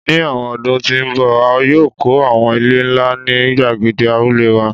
Ni awọn ọdun ti n bọ a yoo kọ awọn ile nla ni gbagede Abule wa